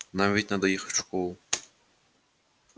нам ведь надо ехать в школу